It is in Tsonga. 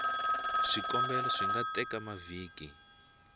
swikombelo swi nga teka mavhiki